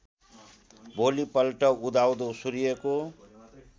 भोलिपल्ट उदाउँदो सूर्यको